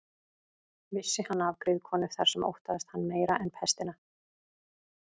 Vissi hann af griðkonu þar sem óttaðist hann meira en pestina.